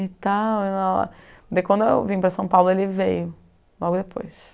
e tal. Daí quando eu vim para São Paulo, ele veio logo depois.